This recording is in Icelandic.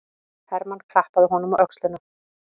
Hermann klappaði honum á öxlina.